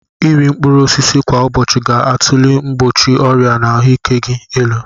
Iri mkpụrụ osisi kwa ụbọchị ga-atulie mgbochi ọrịa na ahụike gị elu.